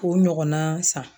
O ɲɔgɔnna san